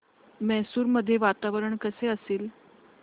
मैसूर मध्ये वातावरण कसे असेल